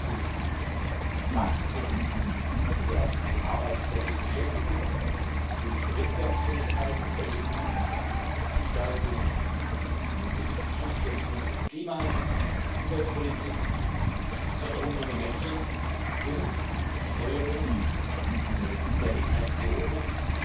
Erstens Wachstum für Arbeitsplätze und Beschäftigung und für die Wettbewerbsfähigkeit der EU, Stärkung des Schutzes unseres Klimas und Umweltpolitik, Förderung junger Menschen und Steuerung der Migration unter